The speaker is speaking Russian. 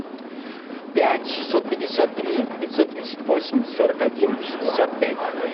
пять шестьсот пятьдесят три пятьсот тридцать восемь сорок один шестьдесят пять